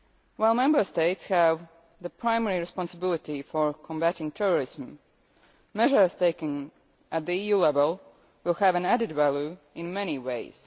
While Member States have the primary responsibility for combating terrorism, measures taken at EU level will have added value in many ways.